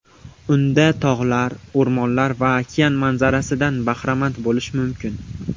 Unda tog‘lar, o‘rmonlar va okean manzarasidan bahramand bo‘lish mumkin.